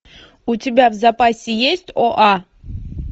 у тебя в запасе есть оа